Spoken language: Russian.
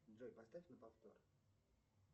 джой поставь на повтор